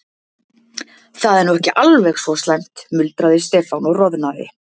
Það er nú ekki alveg svo slæmt muldraði Stefán og roðnaði.